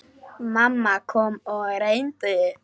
Mamma kom og reyndi.